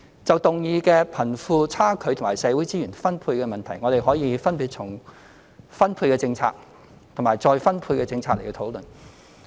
就議案所提的貧富差距及社會資源分配問題，我們可分別從分配政策及再分配政策作出討論。